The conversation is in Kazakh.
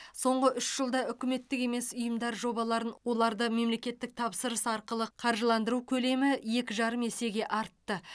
соңғы үш жылда үкіметтік емес ұйымдар жобаларын оларды мемлекеттік тапсырыс арқылы қаржыландыру көлемі екі жарым есеге артты